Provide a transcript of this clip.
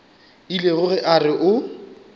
ile ge a re o